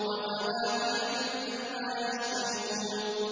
وَفَوَاكِهَ مِمَّا يَشْتَهُونَ